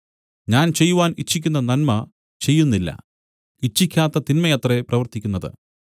ഞാൻ ചെയ്യുവാൻ ഇച്ഛിക്കുന്ന നന്മ ചെയ്യുന്നില്ല ഇച്ഛിക്കാത്ത തിന്മയത്രെ പ്രവർത്തിക്കുന്നത്